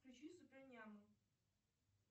включи суперняму